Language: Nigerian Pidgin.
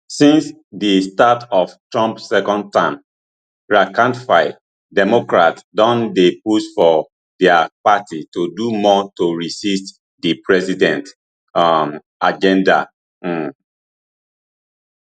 since di start of trump second term rankandfile democrats don dey push for dia party to do more to resist di president um agenda um